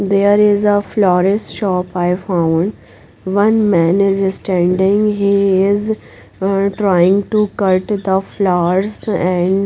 There is a floral shop I found one man is standing he is um trying to cut the flowers and--